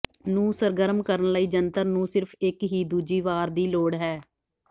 ਨੂੰ ਸਰਗਰਮ ਕਰਨ ਲਈ ਜੰਤਰ ਨੂੰ ਸਿਰਫ ਇੱਕ ਹੀ ਦੂਜੀ ਵਾਰ ਦੀ ਲੋੜ ਹੈ